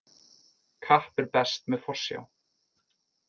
Kapp er best með forsjá.